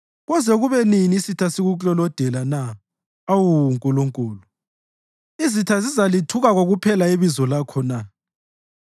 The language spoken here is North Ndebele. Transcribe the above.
Koze kube nini isitha sikuklolodela na, awu Nkulunkulu? Izitha zizalithuka kokuphela ibizo lakho na?